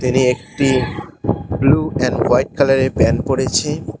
তিনি একটি blue and white কালারের প্যান্ট পড়েছে।